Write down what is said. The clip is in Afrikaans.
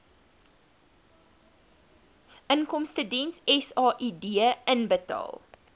inkomstediens said inbetaal